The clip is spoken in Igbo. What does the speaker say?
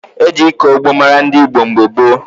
E ji ịkọ ugbo mara ndị Igbo mgbe gboo.